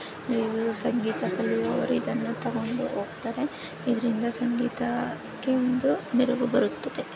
ಇದು ಸಂಗೀತ ಕಲಿಯುವವರು ಇದನ್ನು ತಗೊಂಡು ಹೋಗ್ತಾರೆ. ಇದರಿಂದ ಸಂಗೀತಾ ಕ್ಕೆ ಒಂದು ಮೆರಗು ಬರುತ್ತದೆ.